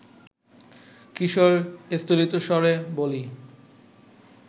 কিশোর স্থলিতস্বরে বলি